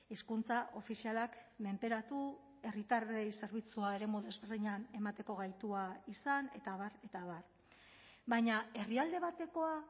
hizkuntza ofizialak menperatu herritarrei zerbitzua eremu desberdinean emateko gaitua izan eta abar eta abar baina herrialde batekoa